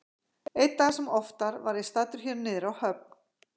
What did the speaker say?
Einn dag sem oftar var ég staddur hér niðri á höfn.